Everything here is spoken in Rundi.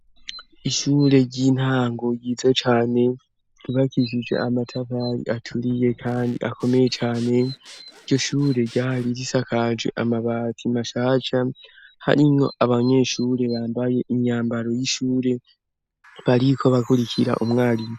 Ishure ry'intango ryiza cane ryubakishijwe amatafari aturiye kandi akomeye cyane. Iryo shure ryari risakaje amabati mashasha harimwo abanyeshure bambaye imyambaro y'ishure, bariko bakurikira umwarimu.